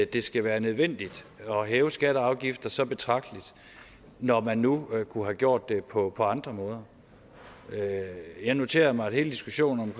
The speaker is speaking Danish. det skal være nødvendigt at hæve skatter og afgifter så betragteligt når man nu kunne have gjort det på andre måder jeg noterer mig at hele diskussionen